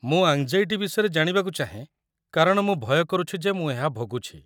ମୁଁ ଆଙ୍ଗ୍‌ଜାଇଟି ବିଷୟରେ ଜାଣିବାକୁ ଚାହେଁ କାରଣ ମୁଁ ଭୟ କରୁଛି ଯେ ମୁଁ ଏହା ଭୋଗୁଛି।